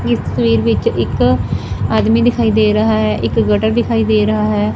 ਇਸ ਤਸਵੀਰ ਵਿੱਚ ਇੱਕ ਆਦਮੀ ਦਿਖਾਈ ਦੇ ਰਹਾ ਹੈ ਇੱਕ ਗਟਰ ਦਿਖਾਈ ਦੇ ਰਹਾ ਹੈ।